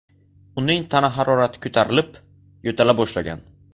Uning tana harorati ko‘tarilib, yo‘tala boshlagan.